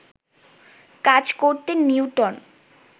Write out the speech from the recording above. কাজ করতেন নিউটন